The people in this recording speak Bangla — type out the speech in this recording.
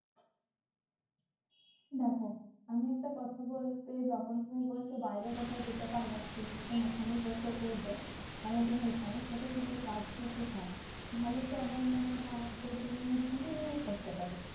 দেখো আমি একটা কথা বলতে যখন তুমি বলছো বাইরে কোথাও যেতে পারবে না তুমি যখন ওখানেই বসে পড়বে মানে তুমি এখানেই থেকে কিছু কাজ করতে চাও তাহলে তো আমার মনে হয় যে তুমি civil নিয়ে পড়তে পারো